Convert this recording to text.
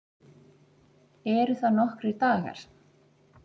Eru það nokkrir dagar?